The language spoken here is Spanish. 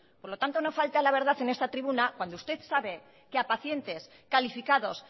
por lo tanto no falte a la verdad en esta tribuna cuando usted sabe que a pacientes calificados